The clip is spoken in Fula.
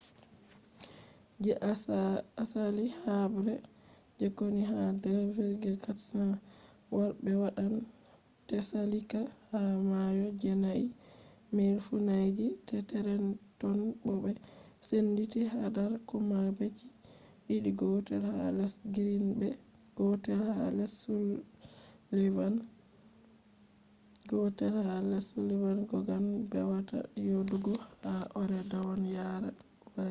je asali habre je konu ha 2,400 warbe wadan tsalika ha mayo jenai miles funange je trenton bo be senditi hadar kombaji didi gotel ha less greene be gotel ha less sullivan kogan bewada yedugo ha ore-dawn yara hari